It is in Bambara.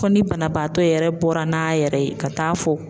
Ko ni banabaatɔ yɛrɛ bɔra n'a yɛrɛ ye ka taa fɔ.